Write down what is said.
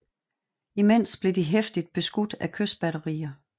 Imens blev de heftigt beskudt af kystbatterier